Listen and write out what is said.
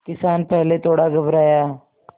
किसान पहले थोड़ा घबराया